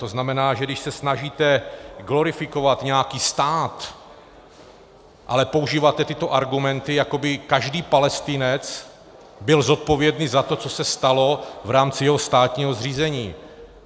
To znamená, že když se snažíte glorifikovat nějaký stát, ale používáte tyto argumenty, jako by každý Palestinec byl zodpovědný za to, co se stalo v rámci jeho státního zřízení.